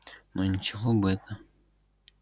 но ничего бы это